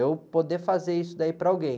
Eu poder fazer isso daí para alguém.